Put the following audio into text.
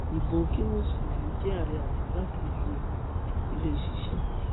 ibo kí mùsùlùmí jẹ àárẹ àti igbákejì ẹ kó lè ṣiṣẹ